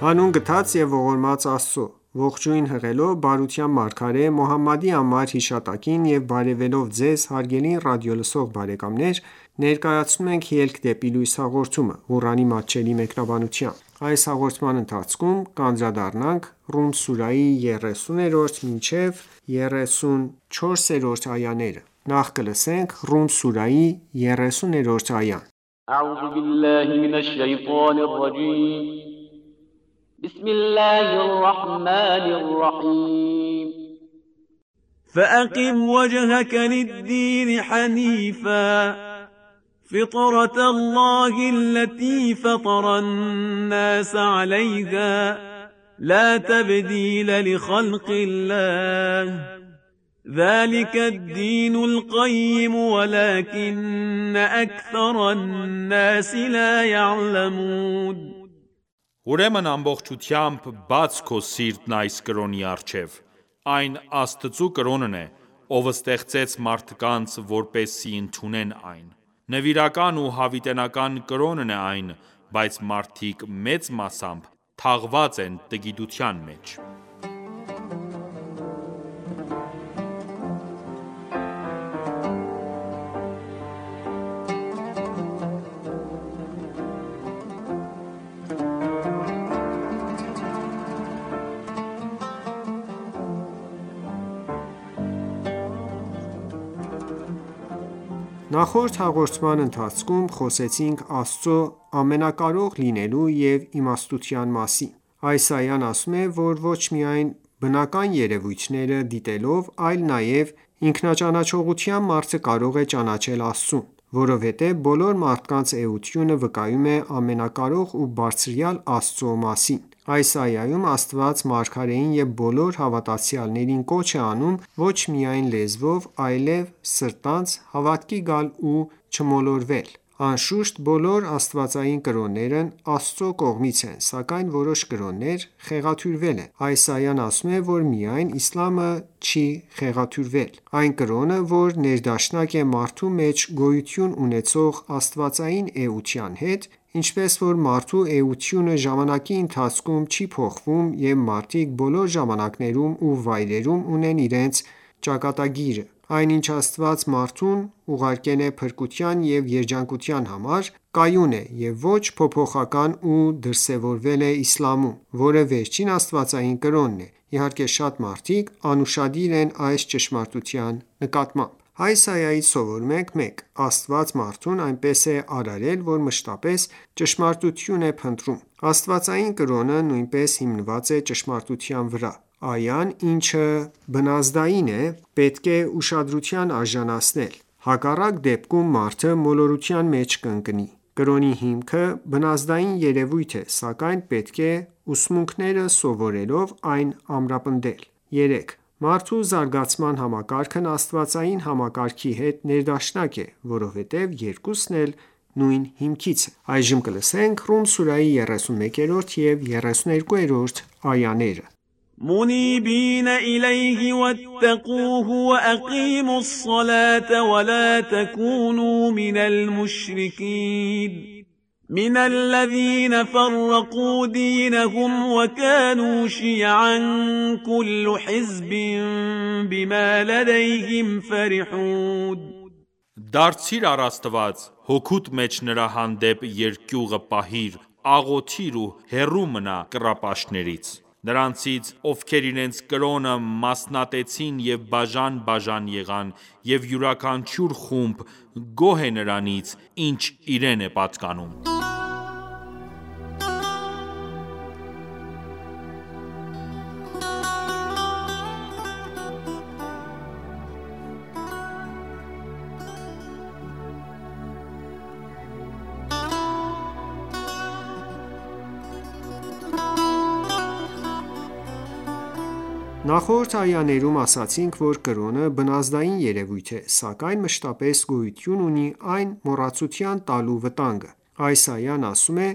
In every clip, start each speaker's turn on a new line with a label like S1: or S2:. S1: Հանուն գթած և ողորմած Աստծո:Ողջույն հղելով բարության մարգարե Մոհամմադի անմար հիշատակին եւ բարեւելով Ձեզ հարգելի ռադիոլսող բարեկամներ, ներկայացնում ենք «Ելք դեպի լույս» հաղորդումը, Ղուրանի մատչելի մեկնաբանությամբ: Ռում սուրահի
S2: 30-րդ այա
S3: Ուրեմն ամբողջությամբ բաց քո սիրտն այս կրոնի առջև: Այն Աստծու կրոնն է, Ով ստեղծեց մարդկանց, որպեսզի ընդունեն այն: Նվիրական ու հավիտենական կրոնն է այն, բայց մարդիկ մեծ մասամբ թաղված են տգիտության մեջ:
S1: Նախորդ հաղորդումների ընթացքում խոսեցինք Աստծու ամենակարող լինելու և իմաստնության մասին: Այս այան ասում է, որ ոչ միայն բնական երևույթները դիտելով, այլ նաև ինքնաճանաչողությամբ, մարդը կարող է ճանաչել Աստծուն: Որովհետև բոլոր մարդկանց էությունը վկայում է ամենակարող ու բարձրյալ Աստծու մասին: Այս այայում Աստված մարգարեին և բոլոր հավատացյալներին կոչ է անում ոչ միայն լեզվով, այլև սրտանց հավատքի գալ ու չմոլորվել: Անշուշտ, բոլոր աստվածային կրոններն Աստծու կողմից են, սակայն որոշ կրոններ խեղաթյուրվել են: Այս այան ասում է, որ միայն իսլամը չի խեղաթյուրվել: Այն կրոնը, որ ներդաշնակ է մարդու մեջ գոյություն ունեցող աստվածային էության հետ, ինչպես որ մարդու էությունը ժամանակի ընթացքում չի փոխվում և մարդիկ բոլոր ժամանակներում ու վայրերում ունեն իրենց ճակատագիրը: Այն ինչ Աստված մարդուն ուղարկել է փրկության ու երջանկության համար, կայուն է և ոչ փոփոխական ու դրսևորվել է իսլամում, որը վերջին աստվածային կրոնն է: Իհարկե շատ մարդիկ անուշադիր են այս ճշմարտության նկատմամբ: Այս այայից սովորում ենք. 1. Աստված մարդուն այնպես է արարել, որ մշտապես ճշմարտություն է փնտրում: Աստվածային կրոնը նույնպես հիմնված է ճշմարտության վրա: Այն, ինչը բնազդային է, պետք է ուշադրության արժանացնել, հակառակ դեպքում մարդը մոլորության մեջ կընկնի: Կրոնի հիմքը բնազդային երևույթ է, սակայն պետք է ուսմունքները սովորելով, այն ամրապնդել: 3. Մարդու զարգացման համակարգն աստվածային համակարգի հետ ներդաշնակ է, որովհետև երկուսն էլ նույն հիքմից են: Ռում սուրահի 31-րդ և 32-րդ այաներ
S2: مُنِیبِینَ إِلَیْهِ وَاتَّقُوهُ وَأَقِیمُوا الصَّلَاةَ وَلَا تَکُونُوا مِنَ الْمُشْرِکِینَ مِنَ الَّذِینَ فَرَّقُوا دِینَهُمْ وَکَانُوا شِیَعًا ۖ کُلُّ حِزْبٍ بِمَا لَدَیْهِمْ فَرِحُونَ
S3: Դարձիր առ Աստված, հոգուդ մեջ Նրա հանդեպ երկյուղը պահիր, աղոթիր ու հեռու մնա կռապաշտներից: Նրանցից, ովքեր իրենց կրոնը մասնատեցին և բաժան-բաժան եղան, և յուրաքանչյուր խումբ գոհ է նրանից, ինչ իրեն է պատկանում:
S1: Նախորդ այաներում ասացինք, որ կրոնը բնազդային երևույթ է, սակայն մշտապես գոյություն ունի այն մոռացության տալու վտանգը: Այս այան ասում է.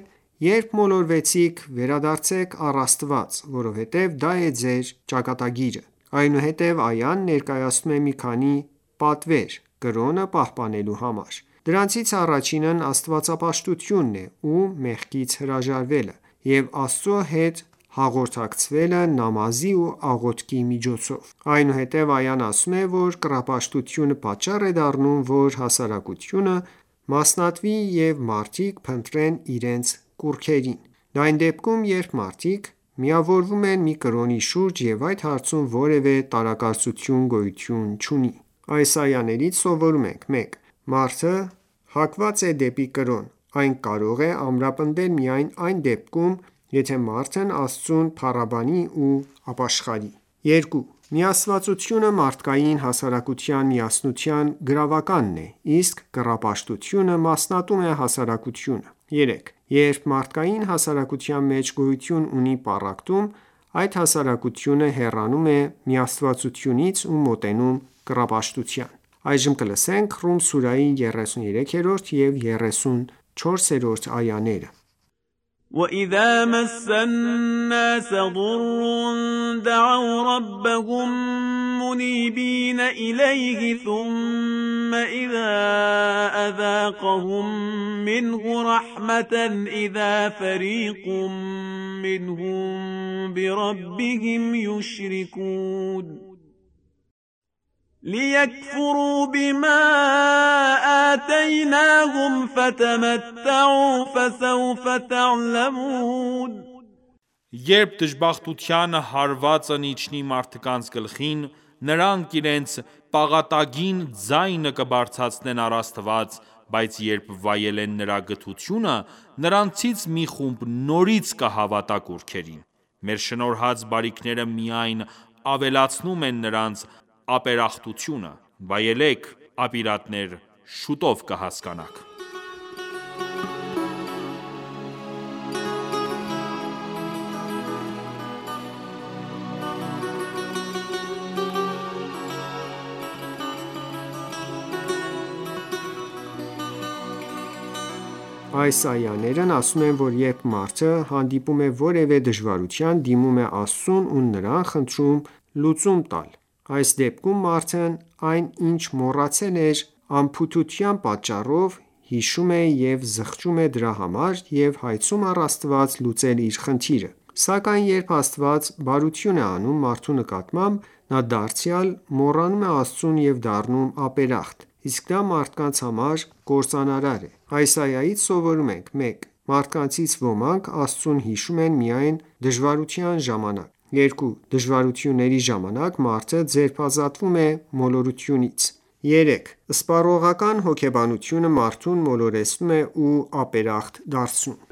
S1: «Երբ մոլորվեցիք, վերադարձեք առ Աստված, որովհետև դա է ձեր ճակատագիրը: Այնուհետև այան ներկայացնում է մի քանի պատվեր՝ կրոնը պահպանելու համար: Դրանցից առաջինն աստվածապաշտությունն է ու մեղքից հրաժարվելը և Աստծու հետ հաղորդակցվելը նամազի ու աղոթքի միջոցով: Այնուհետև այան ասում է, որ կռապաշտությունը պատճառ է դառնում, որ հասարակությունը մասնատվի ու մարդիկ փնտրեն իրենց կուռքերին: Դա այն դեպքում, երբ մարդիկ միավորվում են մի կրոնի շուրջ ու այս հարցում որևէ տարակարծություն գոյություն չունի: Այս այաներից սովորում ենք. 1. Մարդը հակված է դեպի կրոն, այն կարող է ամրապնդվել միայն այն դեպքում, եթե մարդն Աստծուն փառաբանի ու ապաշխարի: 2. Միաստվածությունը մարդկային հասարակության միասնության գրավականն է, իսկ կռապաշտությունը մասնատում է հասարակությունը: 3. Երբ մարդկային հասարակության մեջ գոյություն ունի պառակտում, այդ հասարակությունը հեռանում է միաստվածությունից ու մոտենում կռապաշտության: Ռում սուրահի 33-րդ և 34-րդ այաներ
S2: لِیَکْفُرُوا بِمَا آتَیْنَاهُمْ ۚ
S3: فَتَمَتَّعُوا فَسَوْفَ تَعْلَمُونَ Երբ դժբախտության հարվածն իջնի մարդկանց գլխին, նրանք իրենց պաղատագին ձայնը կբարձրացնեն առ Աստված, բայց երբ վայելեն Նրա գթությունը, նրանցից մի խումբ նորից կհավատա կուռքերին: Մեր շնորհած բարիքները միայն ավելացնում են նրանց ապերախտությունը: Վայելե՛ք, ապիրատներ, շուտով կհասկանաք:
S1: Այս այաներն ասում են, որ երբ մարդը հանդիպում է որևէ դժվարության, դիմում է Աստծուն ու նրան խնդրում լուծում տալ:Այս դեպքում մարդն այն ինչ մոռացել էր անփութության պատճառով հիշում է և զղջում է դրա համար ու հայցում առ Աստված լուծել իր խնդիրը: Սակայն երբ Աստված բարություն է անում մարդու նկատմամբ, նա դարձյալ մոռանում է Աստծուն և դառնում ապերախտ: Իսկ դա մարդկանց համար կործանարար է: Այս այայից սովորում ենք. 1. Մարդկանցից ոմանք, Աստծուն հիշում են միայն դժվարության ժամանակ: 2. Դժվարությունների ժամանակ մարդը ձերբազատվում է մոլորությունից: 3. Սպառողական հոգեբանությունը մարդուն մոլորեցնում է ու ապերախտ դարձնում: